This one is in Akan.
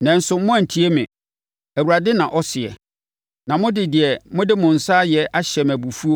“Nanso moanntie me,” Awurade na ɔseɛ, “na mode deɛ mode mo nsa ayɛ ahyɛ me abufuo,